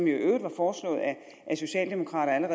i øvrigt var foreslået af socialdemokraterne